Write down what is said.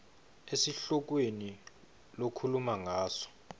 esihlokweni lokhuluma ngaso